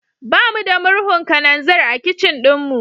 Ba mu da murhun kananzir a kicin ɗinmu.